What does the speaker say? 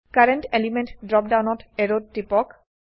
current element drop ডাউনত এৰোত টিপক